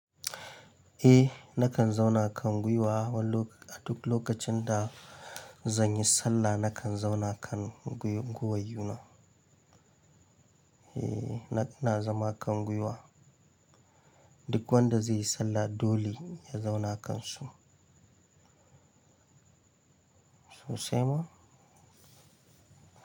Eh nakan zauna kan gwiwa wani lok-- a duk lokacin da zan yi sallah nakan zauna kan gwi-gwiwuna. Eh, na- ina zama kan gwiwa. Duk wanda zai yi sallah dole ya zauna kansu. Sosai ma?